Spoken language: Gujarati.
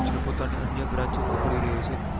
જે પોતાની અન્ય branch પણ ખોલી રહ્યો છે